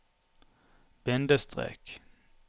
bindestrek